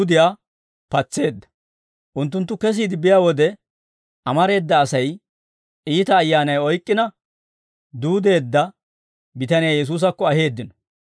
Unttunttu kesiide biyaa wode, amareeda Asay iita ayyaanay oyk'k'ina duudeedda bitaniyaa Yesuusakko aheeddino.